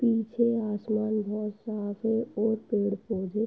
पीछे आसमान बोहोत साफ है और पेड़ पौधे --